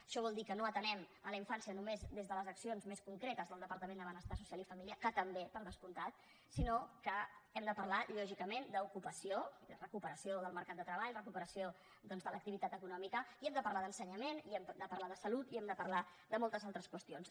això vol dir que no atenem la infància només des de les accions més concretes del departament de benestar social i família que també per descomptat sinó que hem de parlar lògicament d’ocupació i de recuperació del mercat de treball recuperació doncs de l’activitat econòmica i hem de parlar d’ensenyament i hem de parlar de salut i hem de parlar de moltes altres qüestions